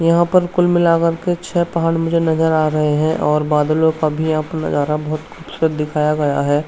यहां पर कुल मिलाकर के छे पहाड़ मुझे नजर आ रहे हैं। और बादलो का भी यहां पर नजारा बहोत ख़ूबसूरत दिखाया गया है।